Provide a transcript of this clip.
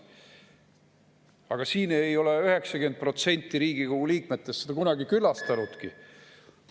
Aga ei ole 90% Riigikogu liikmetest seda.